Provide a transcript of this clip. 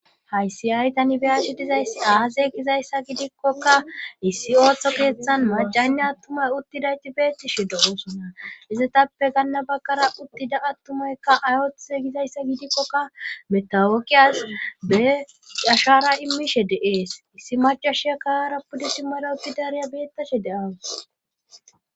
Hayssi aytani beyashi dizayss aaze gizayssa gidikkokka issi ooththo keeththan macaynne attumay uttidayti beettishi dohoosonna izetappe ganna baggara uttida attumaykka ay ooththe gizayssa gidikkokka metawokiyas be cashara imishe deees issi macha shekara pudisi marooppi dariya beettashe deawus